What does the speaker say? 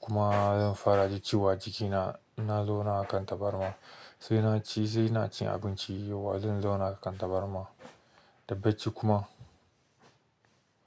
kuma zan fara jin ciwo a jikina ina zauna akan tabarma sai naci, sai ina cin abinci yauwa zan zauna a kan tabarma da bacci kuma.